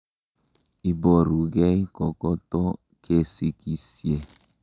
Iborukei kokoto kesikisye.